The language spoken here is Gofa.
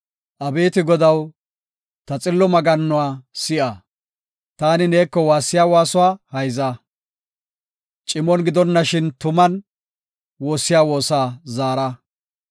Abeeti Godaw, ta xillo maggannuwa si7a; taani neeko waassiya waasuwa hayza. Cimon gidonashin tuman, woossiya woosa zaara.